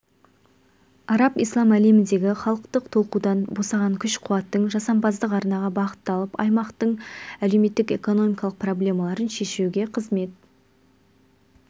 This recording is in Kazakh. араб-ислам әлеміндегі халықтық толқудан босаған күш-қуаттың жасампаздық арнаға бағытталып аймақтың әлеуметтік-экономикалық проблемаларын шешуге қызмет